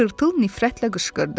Tırtıl nifrətlə qışqırdı.